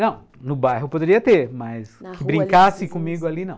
Não, no bairro poderia ter, mas que brincasse comigo ali, não.